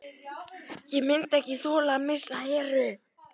Ég myndi ekki þola að missa Heru.